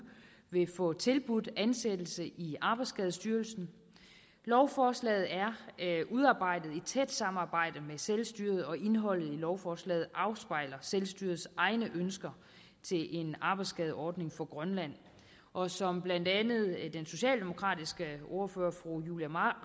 vil få tilbudt ansættelse i arbejdsskadestyrelsen lovforslaget er udarbejdet i tæt samarbejde med selvstyret og indholdet af lovforslaget afspejler selvstyrets egne ønsker til en arbejdsskadeordning for grønland og som blandt andet den socialdemokratiske ordfører fru julie